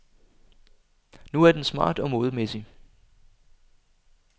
Nu er den smart og modemæssig.